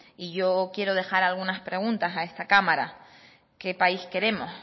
y yo quiero dejar algunas preguntas a esta cámara qué país queremos